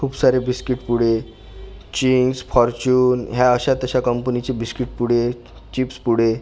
खूप सारे बिस्कीट पुडे चींगस फॉर्च्यून ह्या अशा तशा कंपनीचे बिस्कीट पुडे क चिप्स पुडे --